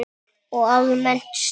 Og almennt stuð!